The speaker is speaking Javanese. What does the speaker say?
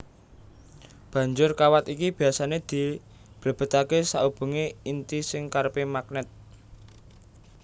Banjur kawat iki biasané diblebetaké saubengé inti sing kerepé magnèt